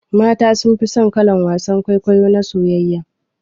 Mata sunfi son kallon wasan kwaikwayo na soyayya.